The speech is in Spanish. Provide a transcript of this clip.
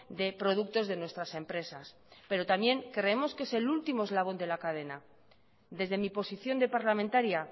de productos de nuestras empresas pero también creemos que es el último eslabón de la cadena desde mi posición de parlamentaria